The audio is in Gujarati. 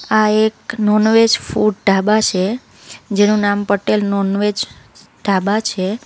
આ એક નોન વેજ ફૂડ ઢાબા છે. જેનું નામ પટેલ નોન વેજ ઢાબા છે.